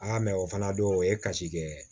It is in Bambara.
Aa mɛ o fana don o ye kasi kɛ